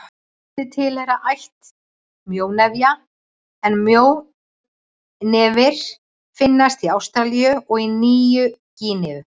Tvær tegundir tilheyra ætt mjónefja en mjónefir finnast í Ástralíu og á Nýju-Gíneu.